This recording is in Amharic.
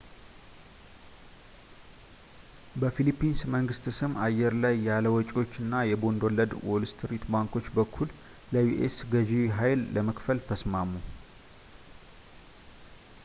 በፊሊፒንስ መንግሥት ስም አየር ላይ ያለ ወጪዎች እና የቦንድ ወለድ በዋልስትሪት ባንኮች በኩል ለዩ.ኤስ ገዢ ሃይል ለመክፈል ተስማሙ